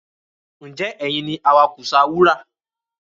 Ǹjẹ́ ẹ̀yin ni awakùsà wúrà